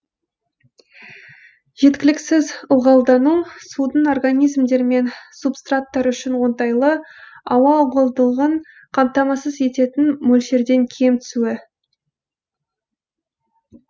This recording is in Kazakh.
жеткіліксіз ылғалдану судың организмдер мен субстраттар үшін оңтайлы ауа ылғалдығын қамтамасыз ететін мөлшерден кем түсуі